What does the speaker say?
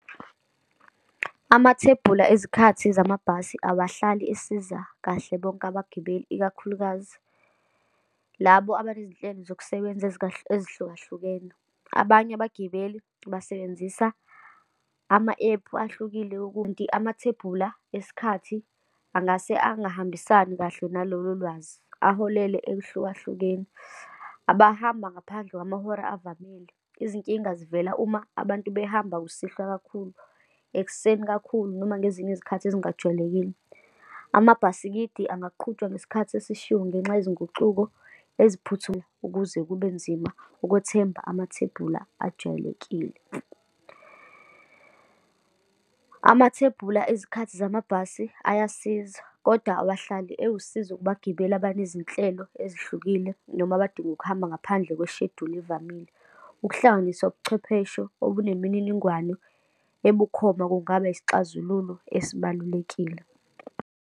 Amathebula ezikhathi zamabhasi awahlali esiza kahle bonke abagibeli, ikakhulukazi labo aba nezinhlelo zokusebenza ezikahle ezihlukahlukene. Abanye abagibeli basebenzisa ama-ephu ahlukile , amathebula esikhathi angase angahambisani kahle nalolo lwazi, aholele ehlukahlukeni. Abahamba ngaphandle kwamahora avamile, izinkinga zivela uma abantu behamba kusihlwa kakhulu, ekuseni kakhulu, noma ngezinye izikhathi ezingajwayelekile. Amabhasikidi angaqhutshwa ngesikhathi esishiywo ngenxa izinguquko ukuze kube nzima ukwethemba amathebula ajwayelekile. Umathebula ezikhathi zamabhasi ayasizwa kodwa awahlali ewusizo kubagibeli abanezinhlelo ezihlukile, noma abadinga ukuhamba ngaphandle kweshejuli evamile. Ukuhlanganiswa ubuchwepheshe onemininingwano ebukhoma kungaba isixazululo esibalulekile.